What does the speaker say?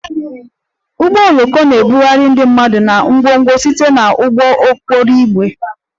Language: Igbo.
Ụgbọ oloko na-ebugharị ndị mmadụ na ngwongwo site na ụgbọ okporo ígwè